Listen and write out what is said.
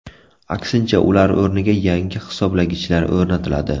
Aksincha, ular o‘rniga yangi hisoblagichlar o‘rnatiladi.